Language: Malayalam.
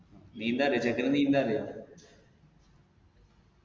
നീന്താറിയോ ചെക്കന് നീന്താറിയോ